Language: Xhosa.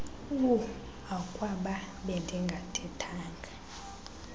uh akwaba bendingathethanga